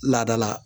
Laadala